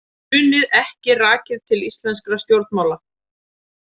Hrunið ekki rakið til íslenskra stjórnmála